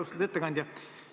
Austatud ettekandja!